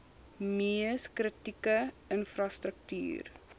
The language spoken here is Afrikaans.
mees kritieke infrastruktuur